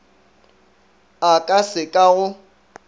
a ka se ka go